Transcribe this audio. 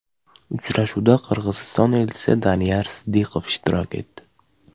Uchrashuvda Qirg‘iziston elchisi Daniyar Sidiqov ishtirok etdi.